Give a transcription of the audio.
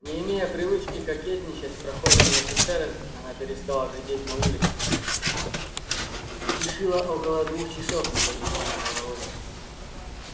не имея привычки кокетничать с прохожими офицерами она перестала глядеть на улицу и шила около двух часов не поднимая головы